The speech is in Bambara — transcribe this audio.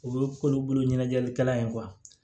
O ye k'olu bolo ɲɛnajɛlikɛla ye